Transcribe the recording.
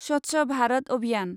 स्वच्छ भारत अभियान